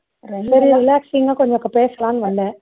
கொஞ்சம் பேசலாம்னு வந்தேன்